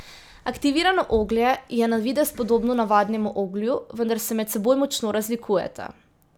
Aktivirano oglje je na videz podobno navadnemu oglju, vendar se med seboj močno razlikujeta.